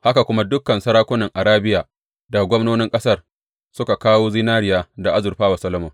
Haka kuma dukan sarakunan Arabiya da gwamnonin ƙasar suka kawo zinariya da azurfa wa Solomon.